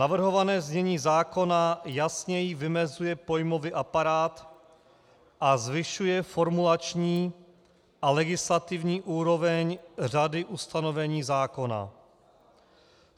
Navrhované znění zákona jasněji vymezuje pojmový aparát a zvyšuje formulační a legislativní úroveň řady ustanovení zákona.